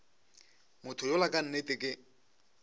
motho yola ka nnete ke